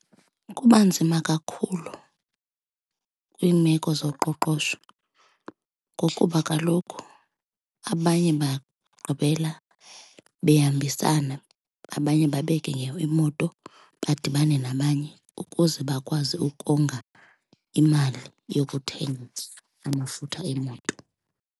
Kuba nzima kakhulu kwiimeko zoqoqosho ngokuba kaloku abanye bagqibela behambisana abanye bebeke imoto badibane nabanye ukuze bakwazi ukonga imali yokuthenga amafutha emoto.